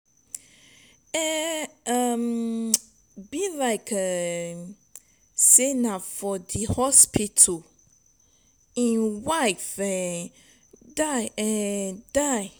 e um be like um say na for dat hospital im wife um die. um die.